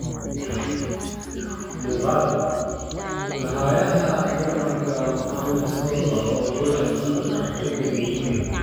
Muqaal: Goolhayaha Jarmalka Muhammet Sozer oo gool cajiib ah ka dhaliyay England